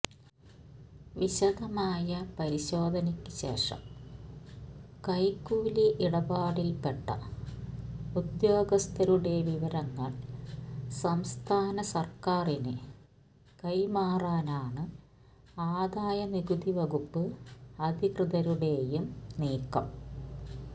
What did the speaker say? വിശദമായ പരിശോധനയ്ക്ക് ശേഷം കൈക്കൂലി ഇടപാടിൽ പെട്ട ഉദ്യോഗസ്ഥരുടെ വിവരങ്ങൾ സംസ്ഥാന സർക്കാറിന് കൈമാറാനാണ് ആദായനികുതി വകുപ്പ് അധികൃതരുടെയും നീക്കം